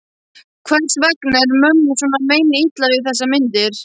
Hvers vegna er mömmu svona meinilla við þessar myndir?